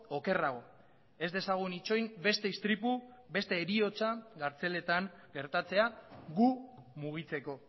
okerrago ez dezagun itxoin beste istripu beste heriotza kartzeletan gertatzea gu mugitzeko